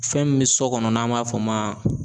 Fɛn min bɛ sɔ kɔnɔ n'an b'a f'o ma